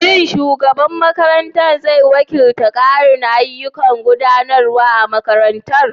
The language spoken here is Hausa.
Shin shugaban makarantar zai wakilta ƙarin ayyukan gudanarwa a makarantar?